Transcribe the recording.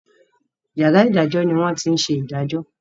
yàrá idajọ ni wón tí ṣe idajọ.